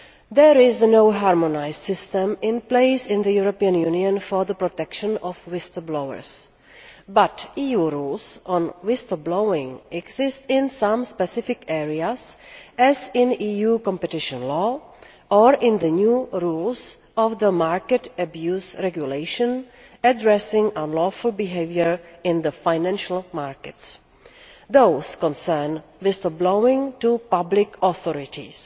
There is no harmonised system in place in the European Union for the protection of whistle blowers but EU rules on whistle blowing exist in some specific areas, as in EU competition law or in the new rules of the Market Abuse Regulation addressing unlawful behaviour in the financial markets. These concern whistle blowing to public authorities.